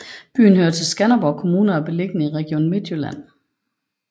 Byen hører til Skanderborg Kommune og er beliggende i Region Midtjylland